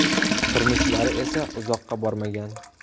Turmushlari esa uzoqqa bormagan.